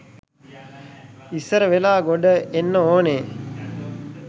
ඉස්සර වෙලා ගොඩ එන්න ඕනේ.